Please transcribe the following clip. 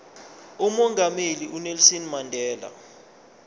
umongameli unelson mandela